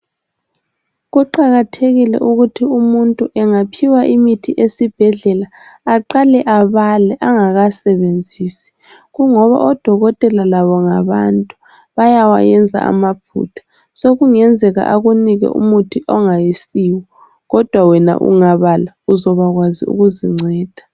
Kuqakathekile ukuthi umuntu engaphiwa imithi esibhedlela aqale abale angakasebenzisi kungoba odokotela labo ngabantu bayawayenza amaphutha. Sokungenzela akunike umuthi ongasiwo kodwa wena ungabala uzobakwazi ukuzinceda.